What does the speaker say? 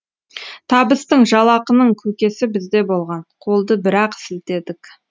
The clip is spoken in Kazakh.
табыстың жалақының көкесі бізде болған қолды бір ақ сілтедік